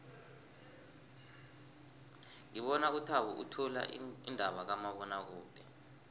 ngibona uthabo uthula iindaba kumabonwakude